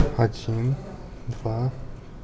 один два